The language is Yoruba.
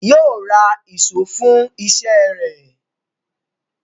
Yóò ra ìṣó fún iṣẹ́ rẹ̀